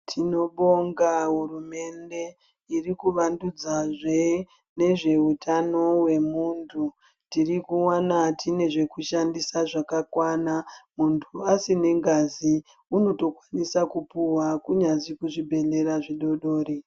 Tinobonga hurumende irikuvandudzazve nezveutano hwemundu tirikuwana tine zvekushandisa zvakakwana mundu asina ngazi unotosisa kupuwa kunyazi kuzvibhedhlera zvidodori.